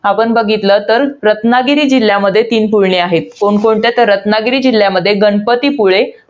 आपण बघितलं तर, रत्नागिरी जिल्ह्यामध्ये तीन पुळणी आहेत. कोणकोणत्या तर, रत्नागिरी जिल्ह्यमध्ये गणपतीपुळे